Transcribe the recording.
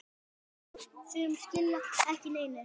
Sum skila ekki neinu.